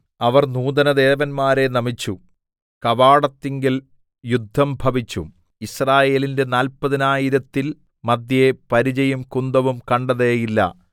അവർ നൂതനദേവന്മാരെ നമിച്ചു കവാടത്തിങ്കൽ യുദ്ധംഭവിച്ചു യിസ്രായേലിന്റെ നാല്പതിനായിരത്തിൻ മദ്ധ്യേ പരിചയും കുന്തവും കണ്ടതേയില്ല